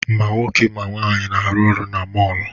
Ma nwoke ma nwaanyị na-arụ ọrụ na mọọlụ.